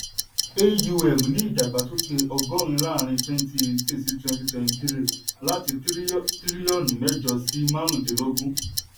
aum ní ìdàgbàsókè ọgọ́rin láàrín 2018-2023 láti tírílíọ̀nù mẹ́jọ sí márùndínlógún.